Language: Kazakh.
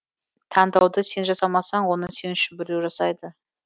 таңдауды сен жасамасаң оны сен үшін біреу жасайды